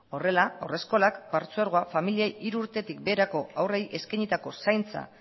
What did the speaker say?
horrela haurreskolak partzuergoa familiei hiru urtetik beherako haurrei eskainitako zaintza